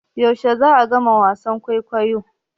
Yaushe za'a gama wasan kwaikwayon?